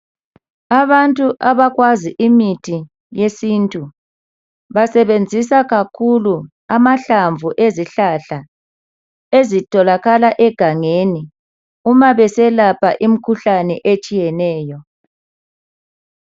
Abantu abakwazi imithi yesintu basebenzisa kakhulu amahlamvu ezihlahla ezitholakala egangeni uma beselapha imikhuhlane etshiyeneyo